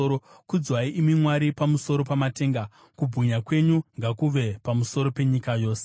Kudzwai, imi Mwari, pamusoro pamatenga; kubwinya kwenyu ngakuve pamusoro penyika yose.